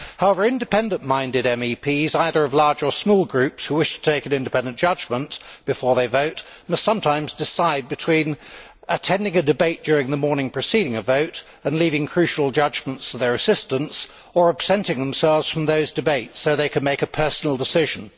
However, independent minded MEPs, either of large or small groups, who wish to take an independent judgement before they vote must sometimes decide between attending a debate during the morning preceding a vote and leaving crucial judgements to their assistants, or absenting themselves from those debates so they can make a personal decision.